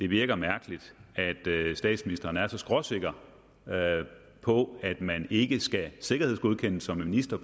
virker mærkeligt at statsministeren er så skråsikker på at man ikke skal sikkerhedsgodkendes som minister